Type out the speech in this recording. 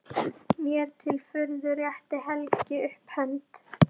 Mér til furðu réttir Helgi upp hönd.